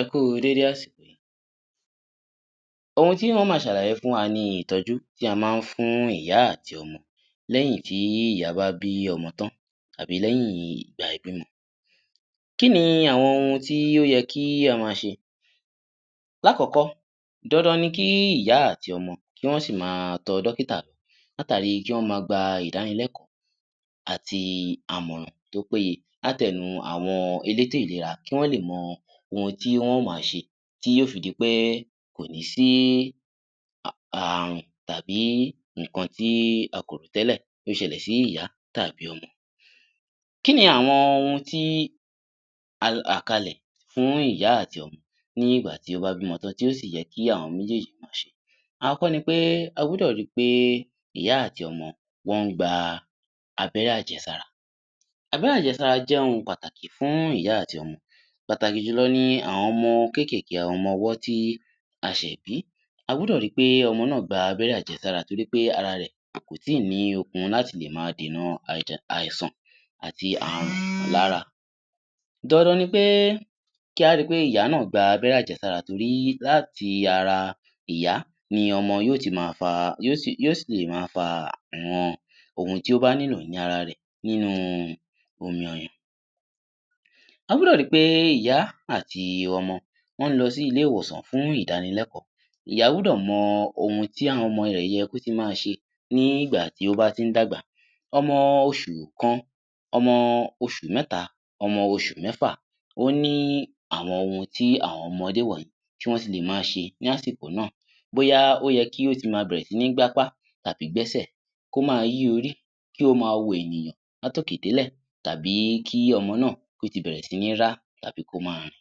Ẹ kú u dédé àsìkò yìí. Ohun tí n ó máa ṣàlàyé fún wa ni ìtọ́jú tí a máa ń fún ìyá àti ọmọ lẹ́yìn tí ìyá bá bí ọmọ tán àbí lẹ́yìn ìgbà ìbímọ. Kí ni àwọn ohun tí ó yẹ kí a máa ṣe? Lákọ̀ọ́kọ́, dandan ni kí ìyá àti ọmọ kí wọ́n ṣì máa tọ dọ́kítà lọ látàri kí wọ́n máa gba ìdánilẹ́kọ̀ọ́ àti àmọ̀ràn tó péye láti ẹnu àwon elétò ìlera kí wọ́n lè mọ ohun tí wọ́n ó máa ṣe tí yóó fi di pé kò ní sí ààrùn tàbí nǹkan tí a kò rò tẹ́lẹ̀ kí ó ṣẹlẹ̀ sí ìyá tàbí ọmọ. Kí ni àwọn ohun tí a là kalẹ̀ fún ìyá àti ọmọ ní ìgbà tí ó bá bímọ tán tí ó sì yẹ kí àwọn méjéèjì máa ṣe? Àọ́kọ́ ni pé, a gbúdọ̀ ri pé ìyá àti ọmọ wọ́n ń gba abẹ́rẹ́-àjẹsára. Abẹ́rẹ́-àjẹsára jẹ́ ohun pàtàkì fún ìyá àti ọmọ. Pàtàkì jùlọ ni àwọn ọmọ kékèèké, àwọn ọmọ ọwọ́ tí a ṣẹ̀ bí. A gbúdọ̀ ri pé ọmọ náà gba abẹ́rẹ́-àjẹsára torí pé ara rẹ̀ kò tí ì ní okun láti lè máa dènà àìsàn àti ààrùn lára. Dandan ni pé kí á ri pé ìyá náà gba abẹ́rẹ́-àjẹsára torí láti ara ìyá ni ọmọ yóó ti ma fa, yóó sì, yóó sì lè máa fa àwọn ohun tí ó bá nílò ní ara rẹ̀ nínú omi ọyàn. A gbúdọ̀ ri pé ìyá àti ọmọ wọ́n ń lọ sí ilé-ìwòsàn fún ìdánilẹ́kọ̀ọ́. Ìyá gbúdọ̀ mọ ohun tí àwọn ọmọ rẹ̀ yẹ kó tí ì ma ṣe ní ìgbà tí ó bá ti ń dàgbà. Ọmọ oṣù kan, ọmọ oṣù mẹ́ta, ọmọ oṣù mẹ́fà, ó ní àwọn ohun tí àwọn ọmọdé wọ̀nyí tí wọ́n ti lè máa ṣe ní àsìkò náà. Bóyá ó yẹ kí ó ti máa bẹ̀rẹ̀ sí ní gbápá tàbí gbẹ́sẹ̀, kó máa yí orí, kí ó máa wo ènìyàn láti òkè délẹ̀ tàbí kí ọmọ náà kó ti bẹ̀rẹ̀ sí ní rá tàbí kó máa rìn.